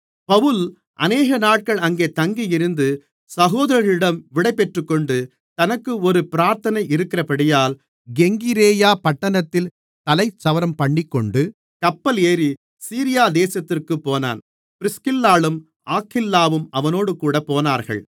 பவுல் அநேகநாட்கள் அங்கே தங்கியிருந்து சகோதரர்களிடம் விடைபெற்றுக்கொண்டு தனக்கு ஒரு பிராத்தனை இருக்கிறபடியால் கெங்கிரேயா பட்டணத்தில் தலைச்சவரம்பண்ணிக்கொண்டு கப்பல் ஏறி சீரியா தேசத்திற்குப் போனான் பிரிஸ்கில்லாளும் ஆக்கில்லாவும் அவனோடுகூட போனார்கள்